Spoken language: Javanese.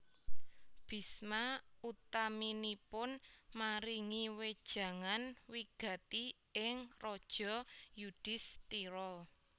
Bisma utaminipun maringi wejangan wigati ing Raja Yudisthira